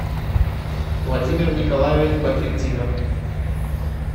владимир николаевич бадретдинов